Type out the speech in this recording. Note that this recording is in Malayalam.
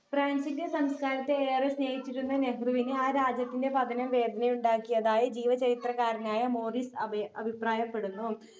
ഫ്രാൻസിന്റെ സംസ്കാരത്തെ ഏറെ സ്നേഹിച്ചിരുന്ന നെഹ്‌റുവിന് ആ രാജ്യത്തിന്റെ പതനം വേദനയുണ്ടാക്കിയതായി ജീവചരിത്രകാരനായ മോറിസ് അബയ അഭിപ്രായപ്പെടുന്നു